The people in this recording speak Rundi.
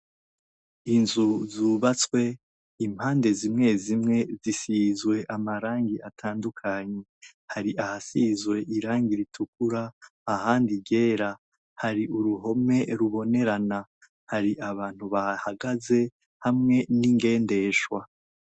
Inzu zubatswe impande zimwe zimwe zisizwe amarangi atandukanye hari ahasizwe irangi ritukura ahandi iryera hari uruhome rubonerana hari abantu bahahagaze hamwe n'ingendeshwa.